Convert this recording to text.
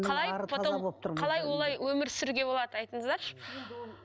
қалай потом қалай олай өмір сүруге болады айтыңыздаршы